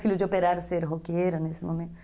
Filho de operário ser roqueiro nesse momento.